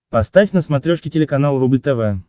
поставь на смотрешке телеканал рубль тв